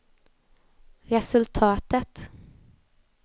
resultatet